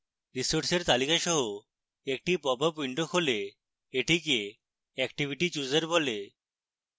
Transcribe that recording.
resources তালিকা সহ একটি popup খোলে